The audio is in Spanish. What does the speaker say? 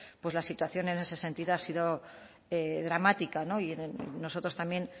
pues la situación en ese sentido ha sido dramática y nosotros también